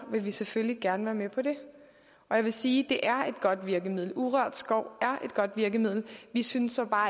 vil vi selvfølgelig gerne være med på det og jeg vil sige at urørt skov vi synes så bare